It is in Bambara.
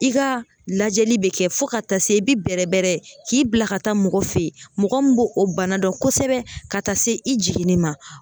I ka lajɛli bɛ kɛ fo ka taa se i bɛ bɛrɛ bɛrɛ k'i bila ka taa mɔgɔ fɛ yen mɔgɔ min b'o o bana dɔn kosɛbɛ ka taa se i jiginni ma